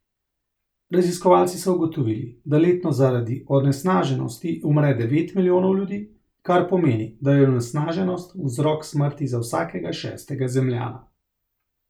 Raziskovalci so ugotovili, da letno zaradi onesnaženosti umre devet milijonov ljudi, kar pomeni, da je onesnaženost vzrok smrti za vsakega šestega Zemljana.